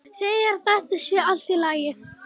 Segir að þetta sé allt í lagi.